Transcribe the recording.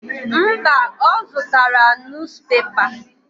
Mba, ọ zụtara nus pepa.